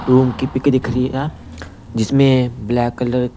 room की pic दिख रही है जिसमें ब्लैक कलर --